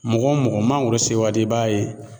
Mɔgɔ mɔgɔ mangoro sewati i b'a ye